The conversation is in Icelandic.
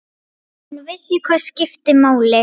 Hún vissi hvað skipti máli.